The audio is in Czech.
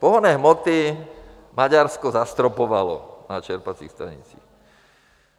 Pohonné hmoty - Maďarsko zastropovalo na čerpacích stanicích.